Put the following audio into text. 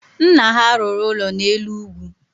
Nna ha rụrụ ụlọ n’elu ugwu